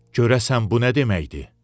Görəsən bu nə deməkdir?